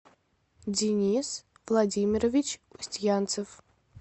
денис владимирович устьянцев